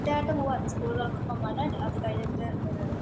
ക്റ്റായിട്ട് പോകുവാരുന്നു. സ്കൂള് തുറക്കുമ്പോള്‍ മഴ. അത് കഴിഞ്ഞിട്ട്